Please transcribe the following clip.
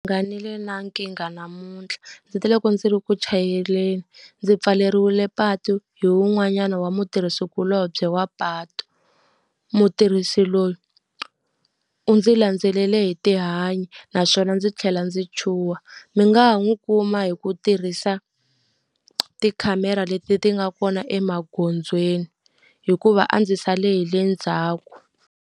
Na nkingha namuntlha. Ndzi te le loko ndzi ri ku chayeleni ndzi pfaleriwile patu hi wun'wanyana wa mutirhikulobye wa patu. Mutirhisi loyi u ndzi landzele hi tihanyi, naswona ndzi tlhela ndzi chuha. Mi nga ha n'wu kuma hi ku tirhisa tikhamera leti ti nga kona emagondzweni, hikuva a ndzi sale hi le ndzhaku.